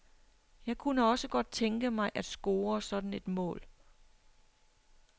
Jeg kunne også godt tænke mig at score sådan et mål.